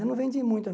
Eu não vendi muita